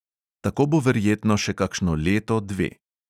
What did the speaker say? Tako bo verjetno še kakšno leto, dve.